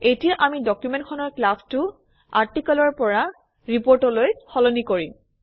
এতিয়া আমি ডকুমেণ্টখনৰ ক্লাছটো আৰ্টিকলৰ পৰা ৰিপৰ্টলৈ সলনি কৰিম